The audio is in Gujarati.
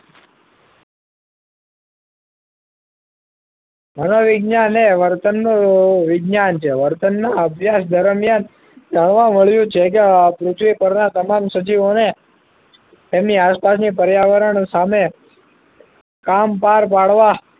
મનોવિજ્ઞાન એ વર્તનનું વિજ્ઞાન છે વર્તનના અભ્યાસ દરમિયાન જાણવા મળ્યું છે કે પૃથ્વી પરના તમામ સજીવોને તેમની આસપાસની પર્યાવરણ સામે કામ પાર પાડવા